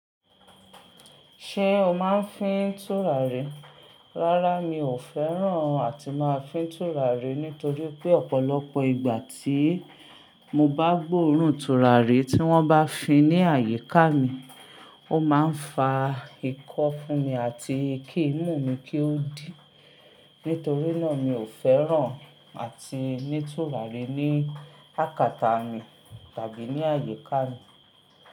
Ṣé o máa ń fín tùràrí? Rárá, mi ò fẹ́ràn àti máa fín tùràrí nítorí pé ọ̀pọ̀lọpọ̀ ìgbà tí mo bá gbóòórùn tùràrí tí wọ́n bá fin ní àyíká mi, ó máa ń fa ikọ́ fún mi àti kí ìmú mi kí ó dí. Nítorí náà, mi ò fẹ́ràn àti ní tùràrí ní àkàtà mi tàbí ní àyíká mi.